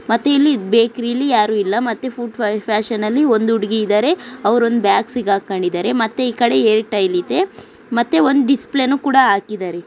ಮತ್ತೆ ಇಲ್ಲಿ ಬೇಕರಿಯಲ್ಲಿ ಯಾರು ಇಲ್ಲ ಮತ್ತೆ ಫುಡ್ ಫ್ಯಾಷನ್ ಅಲ್ಲಿ ಒಂದು ಹುಡುಗಿ ಇದ್ದಾರೆ ಅವ್ರು ಒಂದು ಬ್ಯಾಗ್ ಸಿಕ್ಕಾಕೊಂಡಿದ್ದಾರೆ. ಹಾಗೆ ಈ ಕಡೆ ಏರ್ಟೆಲ್ ಇದೆ ಡಿಸ್ ಪ್ಲೇ ಕೂಡ ಹಾಕಿದ್ದಾರೆ.